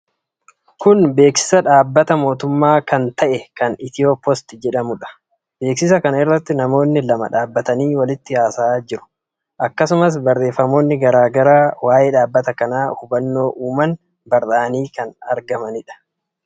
Kun beeksisa Dhaabbata mootummaa kan ta'e, kan Itiyoopoost jedhamuudha. Beeksisa kana irratti namooti lama dhaabatanii walitti haasa'aa jiru. Akkasumas barreefamoonni garaa garaa waa'ee dhaabbata kanaa hubannoo uuman barraa'anii kan argamanidha.